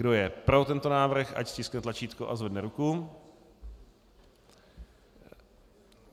Kdo je pro tento návrh, ať stiskne tlačítko a zvedne ruku.